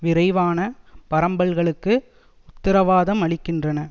விரைவான பரம்பல்களுக்கு உத்தரவாதமளிக்கின்றன